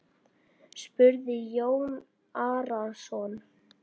spurði Jón Arason.